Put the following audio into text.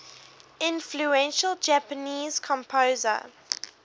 influential japanese composer